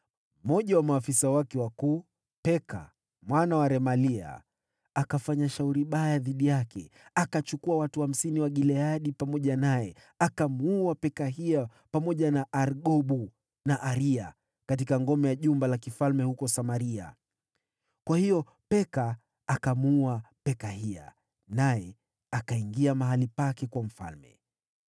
Mmoja wa maafisa wake wakuu, Peka mwana wa Remalia, akafanya shauri baya dhidi yake. Akachukua watu hamsini wa Gileadi pamoja naye, akamuua Pekahia, pamoja na Argobu na Aria, katika ngome ya jumba la kifalme huko Samaria. Kwa hiyo Peka akamuua Pekahia, naye akaingia mahali pake kuwa mfalme.